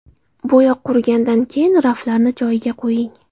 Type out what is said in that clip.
Bo‘yoq qurigandan keyin raflarni joyiga qo‘ying.